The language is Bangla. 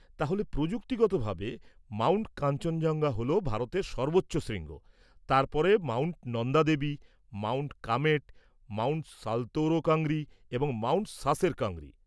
তাহলে, প্রযুক্তিগতভাবে, মাউন্ট কাঞ্চনজঙ্ঘা হল ভারতের সর্বোচ্চ শৃঙ্গ, তার পরে mount Nanda Devi, mount Kamet, mount Saltoro Kangri এবং মাউন্ট সাসের কাংরি।